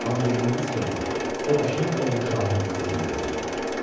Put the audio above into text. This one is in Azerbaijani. Amma bildiyimiz kimi, o da şeyx oğlu şahın hüzuruna gedirdi.